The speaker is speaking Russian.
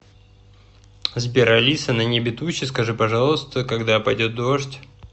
сбер алиса на небе тучи скажи пожалуйста когда пойдет дождь